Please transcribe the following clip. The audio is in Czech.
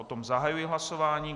O tom zahajuji hlasování.